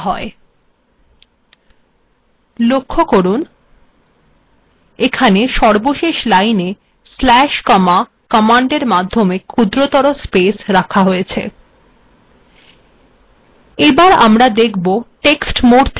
লক্ষ্য করুন এখানে সর্বশেষ লাইনে স্পেস কমা কমান্ডের মাধ্যমে ক্ষুদ্রতর স্পেস রাখা হয়েছে